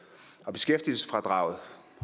beskæftigelsesfradraget og